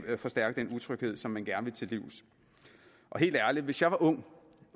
kan forstærke den utryghed som man gerne vil til livs helt ærligt hvis jeg var ung